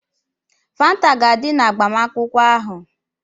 Fanta ga-adị na agbamakwụkwọ ahụ.